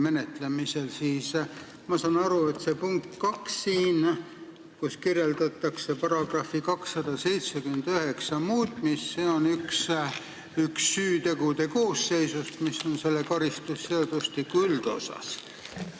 Ma saan aru, et punktis 2 kirjeldatakse § 279 muutmist, see puudutab ühte süüteokoosseisu, mis on karistusseadustiku üldosas.